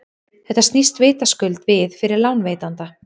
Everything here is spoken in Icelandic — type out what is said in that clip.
þetta snýst vitaskuld við fyrir lánveitanda